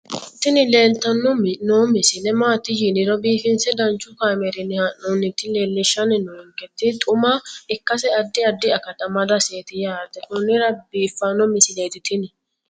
tini leeltanni noo misile maaati yiniro biifinse danchu kaamerinni haa'noonnita leellishshanni nonketi xuma ikkase addi addi akata amadaseeti yaate konnira biiffanno misileeti tini